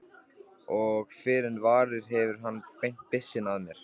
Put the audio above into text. Og fyrr en varir hefur hann beint byssunni að mér.